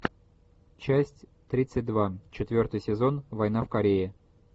часть тридцать два четвертый сезон война в корее